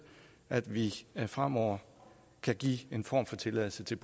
at vi fremover kan give en form for tilladelse til